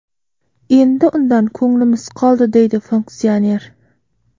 Endi undan ko‘nglimiz qoldi”, deydi funksioner.